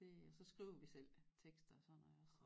Det og så skriver vi selv tekster sådan noget også